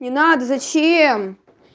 не надо зачем